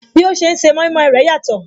Bí ó ṣe ń se mọimọi rẹ̀ yàtọ̀